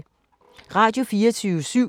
Radio24syv